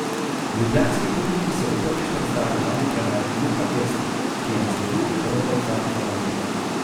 Ljubljanski publiki se bo prvič predstavil novi trener Luka Elsner, ki je nasledil Rodolfa Vanolija.